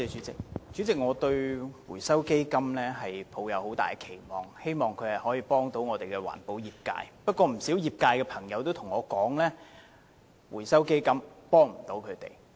主席，我對回收基金抱有很大期望，希望它能夠協助環保業界，但不少業界朋友卻告訴我，指回收基金未能提供協助。